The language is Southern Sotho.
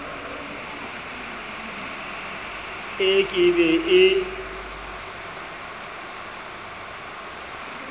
e ke be e e